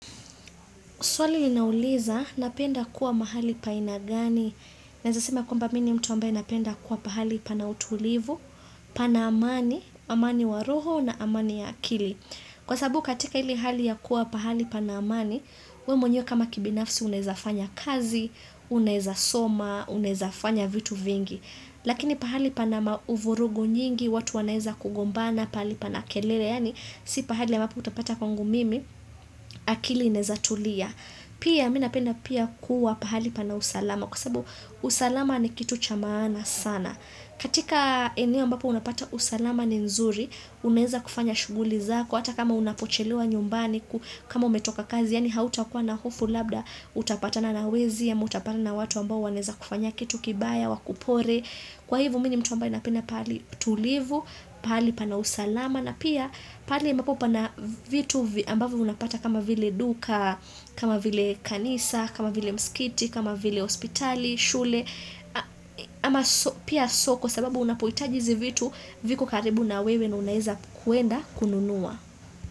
Swali inauliza, napenda kuwa mahali pa haina gani? Naeza sema kwamba mi ni mtu ambaye napenda kuwa pahali pana utulivu, pana amani, amani wa roho na amani ya akili. Kwa sababu katika ile hali ya kuwa pahali pana amani, we mwenyewe kama kibinafsi unaeza fanya kazi, unaeza soma, unaeza fanya vitu vingi. Lakini pahali pana uvurugu nyingi, watu wanaeza kugombana, pahali pana kelele, yaani si pahali ambapo utapata kwangu mimi, akili inaeza tulia. Pia mi napenda pia kuwa pahali pana usalama, kusababu usalama ni kitu cha maana sana. Katika eneo ambapo unapata usalama ni nzuri, unaeza kufanya shughuli zako, hata kama unapochelewa nyumbani, kama umetoka kazi, yaani hautakuwa na hofu labda, hutapatana na wezi, ama hutapatana na watu ambao wanaeza kufanya kitu kibaya, wakupore. Kwa hivo mi ni mtu ambaye napenda pahali tulivu, pahali pana usalama, na pia pahali ambapo pana vitu ambavyo unapata kama vile duka, kama vile kanisa, kama vile mskiti, kama vile hospitali, shule ama pia soko sababu unapohitaji hizi vitu viko karibu na wewe na unaeza kwenda kununua.